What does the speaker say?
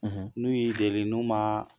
N'u y'i deli n'u ma